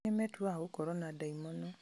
angĩ nĩmetuaga gũkorwo na ndaimono